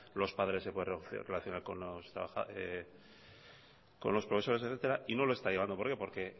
los padres se pueden relacionar con los profesores etcétera no lo está llevando por ello porque